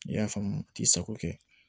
I y'a faamu k'i sago kɛ